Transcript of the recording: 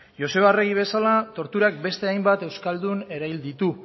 joseba arregi bezala torturak beste hainbat euskaldun erail ditu